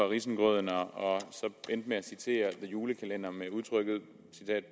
risengrød og endte med at citere the julekalender med udtrykket